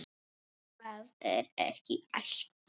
Það er ekki allt búið.